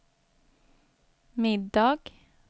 middag